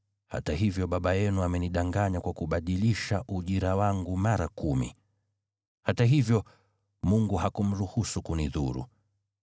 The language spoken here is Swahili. hata hivyo baba yenu amenidanganya kwa kubadilisha ujira wangu mara kumi. Hata hivyo, Mungu hakumruhusu kunidhuru.